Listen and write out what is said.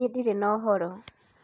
Nie ndĩrĩ na ũhoro